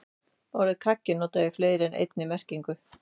Orðið kaggi er notað í fleiri en einni merkingu.